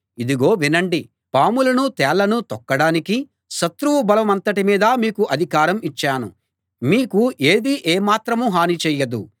ఇదిగో వినండి పాములనూ తేళ్లనూ తొక్కడానికి శత్రువు బలమంతటి మీదా మీకు అధికారం ఇచ్చాను మీకు ఏదీ ఏ మాత్రమూ హని చేయదు